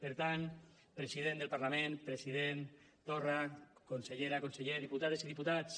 per tant president del parlament president torra consellera conseller diputades i diputats